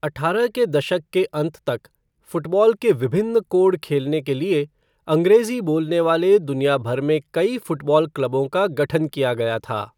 अठारह के दशक के अंत तक, फ़ुटबॉल के विभिन्न कोड खेलने के लिए, अंग्रेजी बोलने वाले दुनिया भर में कई फुटबॉल क्लबों का गठन किया गया था।